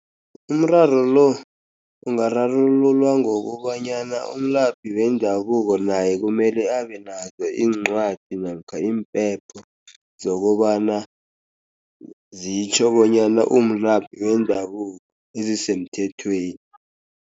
Umraro lo ungararululwa ngokobanyana umlaphi wendabuko naye kumele abenazo iincwadi, namkha impepha zokobana zitjho bonyana umlaphi wendabuko ezisemthethweni.